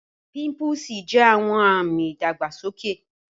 Pimpúsì jẹ̀ awọn ami ìdàgbàsọkè.